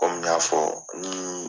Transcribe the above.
Kɔmi n y'a fɔ ni